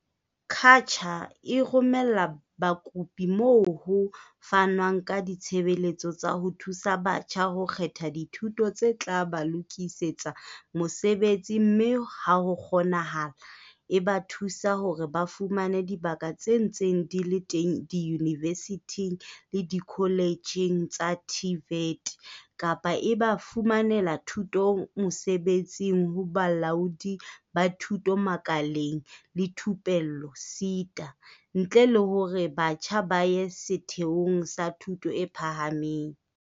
CACH-a e romela bakopi moo ho fanwang ka ditshebeletso tsa ho thusa batjha ho kgetha dithuto tse tla ba lokisetsa mosebetsi mme ha ho kgonahala, e ba thuse hore ba fumane dibaka tse ntseng di le teng diyunivesithing le dikoletjheng tsa TVET. Kapa e ba fumanele thuto mosebetsing ho Bolaodi ba Thuto Makaleng le Thupello SETA, ntle le hore batjha ba ye setheong sa thuto e phahameng.